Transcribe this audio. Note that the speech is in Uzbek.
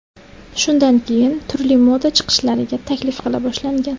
Shundan keyin turli moda chiqishlariga taklif qila boshlangan.